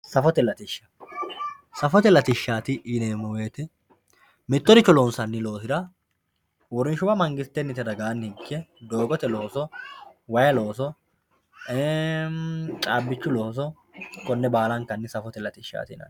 safote latishsha safote latishshaati yineemo woyiite mittoricho lonsanni loosira uurinshuwa mangistennite ragaanni ikke doogote looso wayi looso cabbichu looso konne baalankanni safote latishshaati yinanni